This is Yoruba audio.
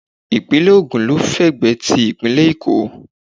Ìpínlẹ̀ Ògùn ló fẹ̀gbẹ́ ti ìpínlẹ̀ Èkó